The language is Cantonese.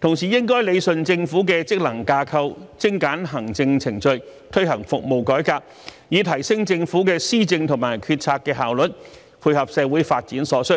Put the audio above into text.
同時應理順政府的職能架構，精簡行政程序，推行服務改革，以提升政府的施政和決策的效率，配合社會發展所需。